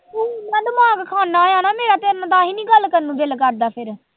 ਤੂੰ ਇੰਨਾ ਦਿਮਾਗ ਖਾਨਾ ਆਂ ਨਾ ਮੇਰਾ, ਤੇਰੇ ਨਾਲ ਤਾਂਹੀ ਨੀ ਗੱਲ ਕਰਨ ਨੂੰ ਦਿਲ ਕਰਦਾ ਫਿਰ।